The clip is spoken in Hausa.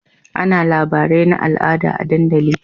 Ana labarai na al'ada a dandali